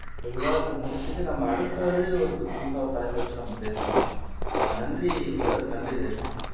இந்த விவாதத்தை முடிச்சிட்டு நம்ம அடுத்தது ஒரு புதுசா ஒரு தலைப்பு எடுத்து நம்ம பேசலாம் ஆஹ் நன்றி பெரோஸ் நன்றி ரேஷ்மா